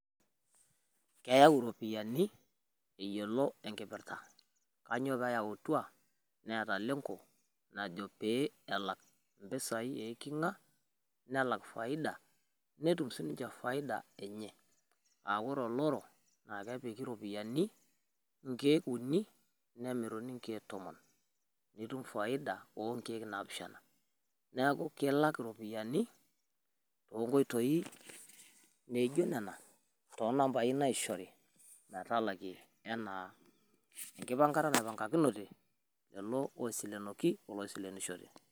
eyau iropiyiani eyiolo enkipirta, kainyioo pee eyautwa, neeta lenko najo pee elak, mpisai eiking'a nelak faida, netum sii ninche faida enye, aa ore oloro aakepiki inkeek un nemiruni inkeek tomon, neeku ketum faida oo nkeek naapishana.